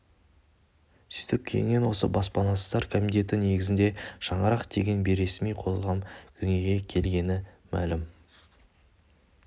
сөйтіп кейіннен осы баспанасыздар комитеті негізінде шаңырақ деген бейресми қоғам дүниеге келгені мәлім